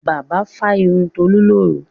Bàbá fá irun Tolú lóru.